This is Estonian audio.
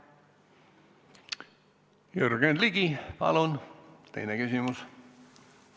Jürgen Ligi, palun teine küsimus!